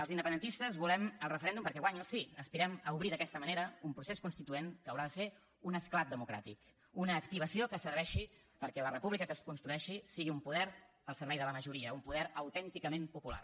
els independentistes volem el referèndum perquè guanyi el sí aspirem a obrir d’aquesta manera un procés constituent que haurà de ser un esclat democràtic una activació que serveixi perquè la república que es construeixi sigui un poder al servei de la majoria un poder autènticament popular